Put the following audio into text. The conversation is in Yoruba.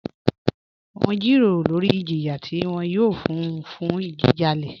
Wọn n jírọ̀rọ̀ lórí ìjìyà tí wọn yòò fún ọ̀ fún jíjálẹ̀.